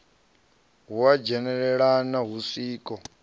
ha u dzhenelelana ha zwiko